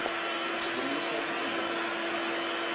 shukumisa umtimba wakho